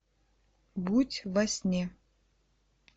будь во сне